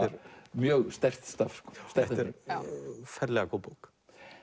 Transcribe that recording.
mjög sterkt stöff þetta er ferlega góð bók